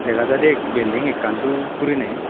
dega jaide building ekkan dup gurine.